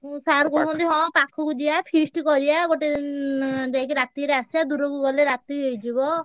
ଉଁ sir କହୁଛନ୍ତି ହଁ ପାଖକୁ ଯିବା feast ଉଁ କରିଆ ଗୋଟେ ଯାଇକି ରାତିରେ ଆସିଆ ଦୂରକୁ ଗଲେ ~ ରା ~ ତି ହେଇଯିବ।